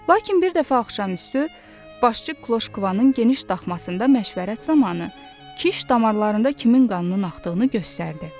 Lakin bir dəfə axşamüstü başçı Kloşkvanın geniş daxmasında məşvərət zamanı Kiş damarlarında kimin qanının axdığını göstərdi.